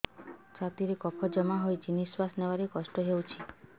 ଛାତିରେ କଫ ଜମା ହୋଇଛି ନିଶ୍ୱାସ ନେବାରେ କଷ୍ଟ ହେଉଛି